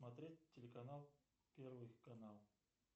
смотреть телеканал первый канал